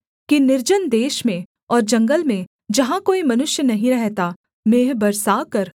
कि निर्जन देश में और जंगल में जहाँ कोई मनुष्य नहीं रहता मेंह बरसाकर